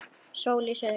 Sól í suðri.